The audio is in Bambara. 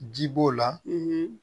Ji b'o la